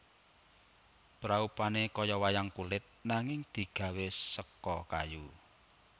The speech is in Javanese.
Praupane kaya wayang kulit nanging digawé seka kayu